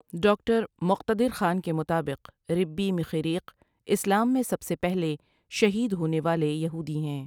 Doctor Muqtedar Khan کے مطابق ربی مخیریق اسلام میں سب سے پہلے شہید ہونے والے یہودی ہیں ۔